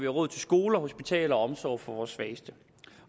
råd til skoler hospitaler og omsorg for vores svageste